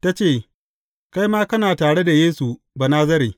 Ta ce, Kai ma kana tare da Yesu, Banazare.